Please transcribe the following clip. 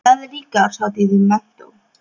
Það er líka árshátíð í menntó.